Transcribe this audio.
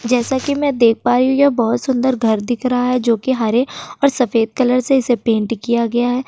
जैसा कि मैं देख पा रही हूं यह बहोत सुंदर घर दिख रहा है जोकि हरे और सफेद कलर से इसे पेंट किया गया है।